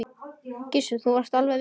Gissur: Þú varst alveg viss?